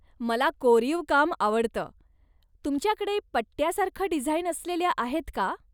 मला कोरीव काम आवडतं. तुमच्याकडे पट्ट्यासारखं डिझाईन असलेल्या आहेत का?